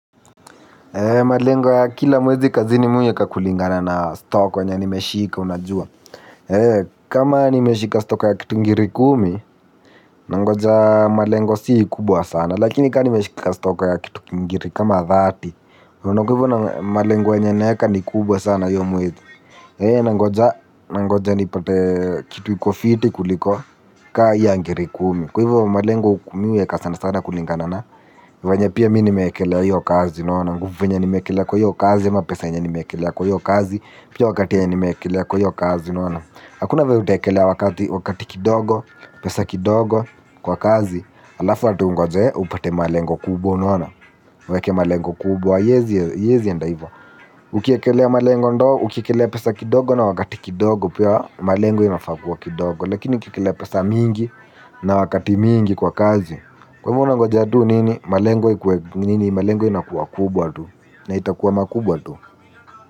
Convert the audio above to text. Malengo ya kila mwezi kazini mimi huiweka kulingana na stock yenye nimeshika unajua. Kama nimeshika stock ya kitu ngiri kumi, nangoja malengo si kubwa sana. Lakini kama nimeshika stock ya kitu ngiri kama thirty unaona kwa hivyo malengo yenye naweka ni kubwa sana hiyo mwezi. Nangoja. Nangoja nipate kitu iko fiti kuliko kama hii ya ngiri kumi. Kwa hivyo malengo huku mimi huweka sana sana kulingana na. Vyenye pia mimi nimeekelea hiyo kazi unaona nguvu yenye nimeekelea kwa hiyo kazi ama pesa yenye nimeekelea kwa hiyo kazi pia wakati yenye nimeekelea kwa hiyo kazi unaona hakuna vyenye utaekelea wakati kidogo pesa kidogo kwa kazi halafu ati ungoje upate malengo kubwa unaona uweke malengo kubwa haiwezi enda hivyo. Ukiekelea malengo ndo ukiekelea pesa kidogo na wakati kidogo pia malengo inafaa kuwa kidogo lakini ukiekelea pesa mingi na wakati mingi kwa kazi kwa hivyo unangoja tu nini malengo ikuwe nini malengo inakuwa kubwa tu na itakuwa makubwa tu.